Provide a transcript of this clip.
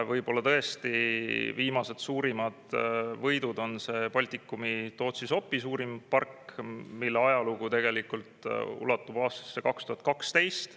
Võib-olla tõesti viimased suurimad võidud on see Baltikumi suurim, Tootsi-Sopi park, mille ajalugu ulatub aastasse 2012.